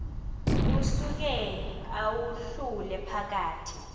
usuke uwahlule phakathi